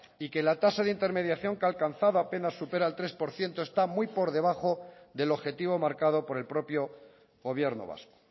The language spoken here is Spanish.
y que la tasa de intermediación que ha alcanzado apenas supera el tres por ciento está muy por debajo del objetivo marcado por el propio gobierno vasco